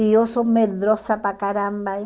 E eu sou medrosa para caramba.